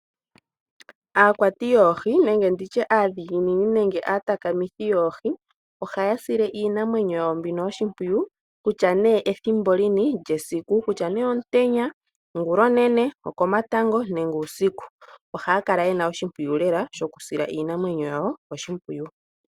Aakwati yoohi, aadhiginini nenge aatakithi yoohi ohaya sile iinamwenyo yawo mbino oshimpwiyu ethimbo lini lyesiku kutya omutenya, ongulonene, oko matango nenge uusiku. Ohaya kala yena oshimpwiyu lela shokusila iinamwenyo yawo oshimpwiyu.